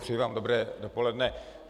Přeji vám dobré dopoledne.